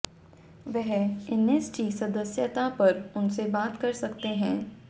वह एनएसजी सदस्यता पर उनसे बात कर सकते हैं